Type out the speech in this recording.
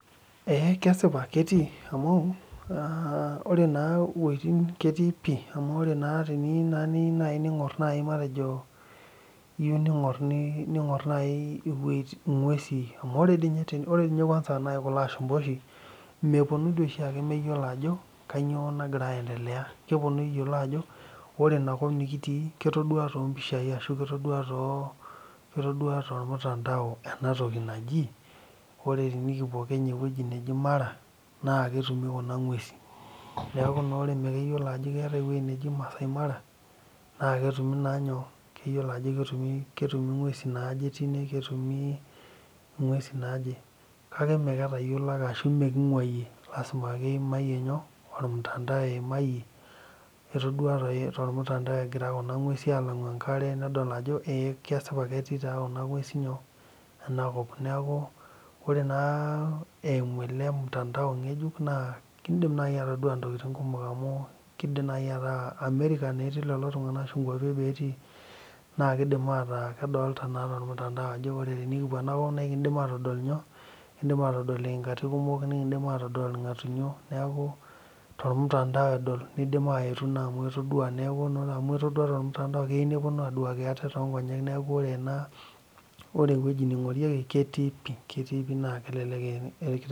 Ee kesipa ketii amuu oree naa iwojitin ketii pii amuu oree naa teniyiu naai niing'orr ning'orr naaii matejo iyieu ning'orr ning'orr naai ing'uesin amuu oree dii ninye oree tii nyee kwanza kuloo ashumpa tooshi meeponu dii oshi meyeolo ajo kanyioo nagira aendelea , keponuu eyelo ajo oree inkop nikitii naa ketodua too mpishai arashu ketodua tolmutandao enatoki naaji , oree tenikipuo Kenya ewejii naaji Mara naa ketumi kuna ng'uesin neeku naa oree ama keyiolo naa ajo keyiolo eweji naaji Maasai Mara naa ketumi naa nyoo , keyioo ajo ketumi ing'uesi naaje tine ketumi ing'uesin naaje, kaake maa ketayiolo ashuu mee keing'uayie lazima ake keimayie nyoo olmutandau eimayie , etodua toi tolmutandao egira kuna ng'uesin alang'u enkare nedol ajoo ee kesipa ketii taa kuna ng'uesi nyoo, enakop neeku , oree naa eimuu ele mtandao ng'ejuk keidim naaji atadua intokitin kumok amu keidim naaji ataa America naa etii lolo tung'anak arashuu nkuapi eboo etii naa keidim ataa kedolita naa tolmutandao ajoo oree tenikipuo ena kop naa ekindim atodol nyoo , iing'aati kumok nikiindim atodol ilng'atunyo tolmutandao edol neeidim aetu amuu etodua tolmutandao keyiuu neponu aaduaki ate tonkonyek neeku oree enaa oree ewoji nedolieki ketii pii naa kelelek.